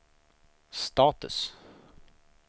status